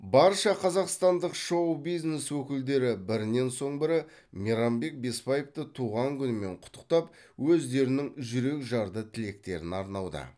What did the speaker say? барша қазақстандық шоу бизнес өкілдері бірінен соң бірі мейрамбек бесбаевты туған күнімен құттықтап өздерінің жүрекжарды тілектерін арнауда